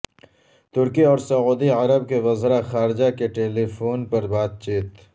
ترکی اور سعودی عرب کے وزراء خارجہ کی ٹیلیفون پر بات چیت